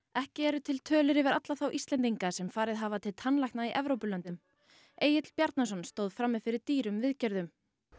ekki eru til tölur yfir alla þá Íslendinga sem farið hafa til tannlækna í Evrópulöndum Egill Bjarnason stóð frammi fyrir dýrum viðgerðum